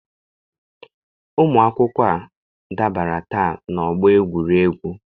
Ụmụ akwụkwọ a dabara taa n'ọgbọ egwuregwu.